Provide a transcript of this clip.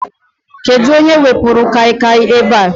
Kedụ onye wepuru Kai Kai a ebe a?